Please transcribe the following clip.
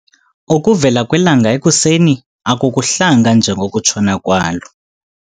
Ukuvela kwelanga ekuseni akukuhlanga njengokutshona kwalo.